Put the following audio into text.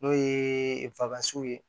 N'o ye ye